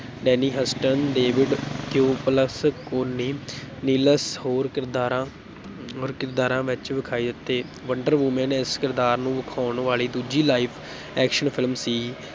Danny Huston, David Thewlis, Connie Nielsen ਹੋਰ ਕਿਰਦਾਰਾਂ ਹੋਰ ਕਿਰਦਾਰਾਂ ਵਿਚ ਵਿਖਾਈ ਦਿੱਤੇ, ਵੰਡਰ ਵੁਮੈਨ ਇਸ ਕਿਰਦਾਰ ਨੂੰ ਵਿਖਾਉਣ ਵਾਲੀ ਦੂਜੀ live action film ਸੀ,